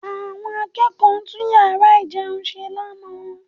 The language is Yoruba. Àwọn akẹ́kọ̀ọ́ tún yàrá ìjẹun ṣe lánàá